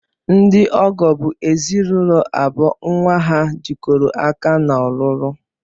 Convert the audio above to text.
Ndị ọgọ bụ ezinụlọ abụọ nnwa ha jikọrọ aka n'ọlụlụ